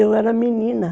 Eu era menina.